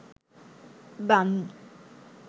Banu